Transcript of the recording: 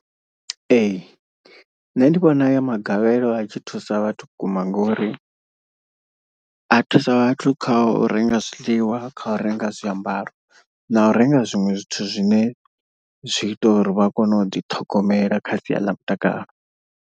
Ee, nṋe ndi vhona ayo magavhelo a tshi thusa vhathu vhukuma ngori. A thusa vhathu kha u renga zwiḽiwa kha u renga zwiambaro na u renga zwiṅwe zwithu zwine zwi ita uri vha kone u ḓi ṱhogomela kha sia ḽa mutakalo.